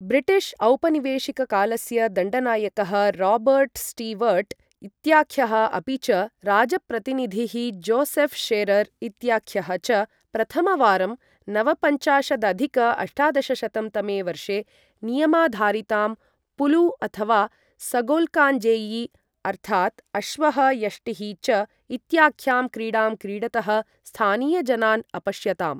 British औपनिवेशिककालस्य दण्डनायकः Robert Stewart इत्याख्यः अपि च राजप्रतिनिधिः जोसेफ् शेरर् इत्याख्यः च प्रथमवारं नवपञ्चाशदधिक अष्टादशशतं तमे वर्षे नियमाधारितां पुलु अथवा सगोल्काङ्गजेयी अर्थात्, अश्वः, यष्टिः च इत्याख्यां क्रीडां क्रीडतः स्थानीयजनान् अपश्यताम्।